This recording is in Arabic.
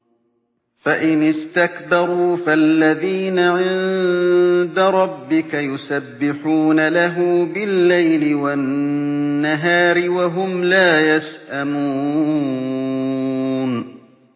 فَإِنِ اسْتَكْبَرُوا فَالَّذِينَ عِندَ رَبِّكَ يُسَبِّحُونَ لَهُ بِاللَّيْلِ وَالنَّهَارِ وَهُمْ لَا يَسْأَمُونَ ۩